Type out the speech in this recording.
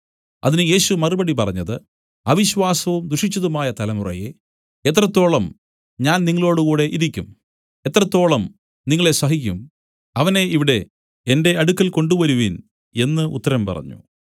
അതിന് യേശു മറുപടി പറഞ്ഞത് അവിശ്വാസവും ദുഷിച്ചതുമായ തലമുറയേ എത്രത്തോളം ഞാൻ നിങ്ങളോടുകൂടെ ഇരിക്കും എത്രത്തോളം നിങ്ങളെ സഹിക്കും അവനെ ഇവിടെ എന്റെ അടുക്കൽ കൊണ്ടുവരുവിൻ എന്നു ഉത്തരം പറഞ്ഞു